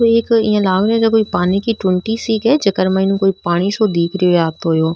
ओ एक इया लाग रो है जेको पानी की टूंटी सी क है जेके माइन पानी सो दिख रो है आतों यो।